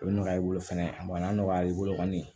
O bɛ nɔgɔya i bolo fɛnɛ a bɔnna nɔgɔya i bolo kɔni